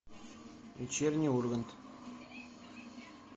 вечерний ургант